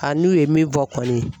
A n'u ye min fɔ kɔni